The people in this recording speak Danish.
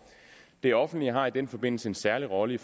det offentlige har i den forbindelse en særlig rolle i